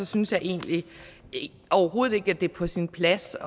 synes jeg egentlig overhovedet ikke at det er på sin plads